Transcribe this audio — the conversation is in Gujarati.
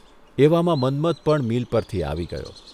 એવામાં મન્મથ પણ મીલ પરથી આવી ગયો.